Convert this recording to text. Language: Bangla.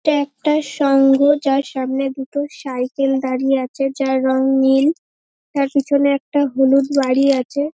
এটা একটা সংঘ যার সামনে দুটো সাইকেল দাড়িয়ে আছে যার রঙ নীল তার পেছনে একটা হলুদ গাড়ী আছে ।